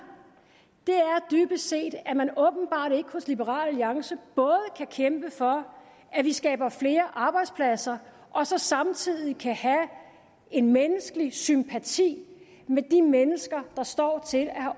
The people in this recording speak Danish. er dybest set at man åbenbart ikke hos liberal alliance både kan kæmpe for at vi skaber flere arbejdspladser og så samtidig kan have en menneskelig sympati med de mennesker der står til at have